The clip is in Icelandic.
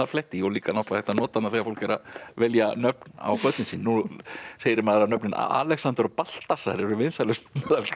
fletta í og líka hægt að nota þegar fólk er að velja nöfn á börnin sín nú heyrir maður að nöfnin Alexander og Baltasar eru vinsælust